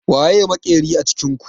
Waye makerin a cikin ku?